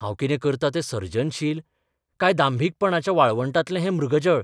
हांव कितें करतां तें सर्जनशील, काय दांभिकपणाच्या वाळवंटांतलें हें मृगजळ?